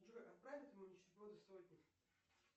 джой отправь этому нищеброду сотню